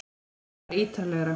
Þetta er bara ítarlegra